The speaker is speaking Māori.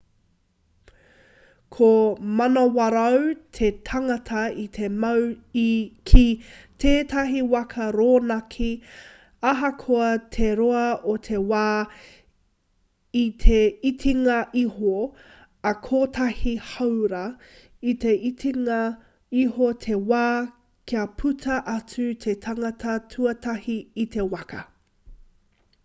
ka manawarau te tangata i te mau ki tētahi waka rōnaki ahakoa te roa o te wā i te itinga iho ā kotahi hāora i te itinga iho te wā kia puta atu te tangata tuatahi i te waka